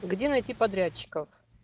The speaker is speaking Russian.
где найти подрядчиков